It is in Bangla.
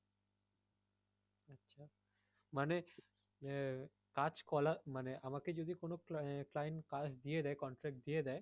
মানে আহ কাজ কলা মানে আমাকে যদি কোনো client আহ কাজ দিয়ে দেয় contract দিয়ে দেয়